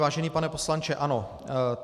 Vážený pane poslanče, ano.